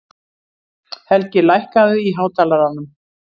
Helgi, lækkaðu í hátalaranum.